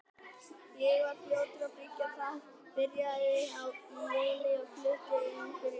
Ég var fljótur að byggja það, byrjaði í júní og flutti inn fyrir jól.